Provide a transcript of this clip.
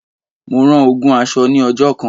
Mo rán ogún aṣọ ní ọjọ́ kan.